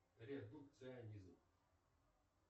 редукционизм